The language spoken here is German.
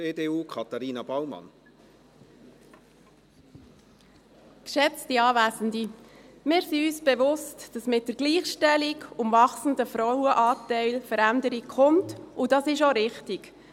Wir sind uns bewusst, dass mit der Gleichstellung und dem wachsenden Frauenanteil Veränderung kommt, und dies ist auch richtig.